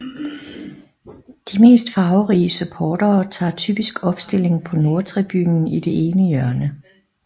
De mest farverige supportere tager typisk opstilling på Nordtribunen i det ene hjørne